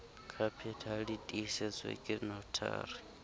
capital di tiisetswe ke notary